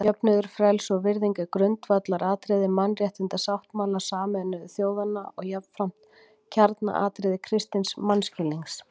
Jöfnuður, frelsi og virðing eru grundvallaratriði Mannréttindasáttmála Sameinuðu þjóðanna og jafnframt kjarnaatriði kristins mannskilnings.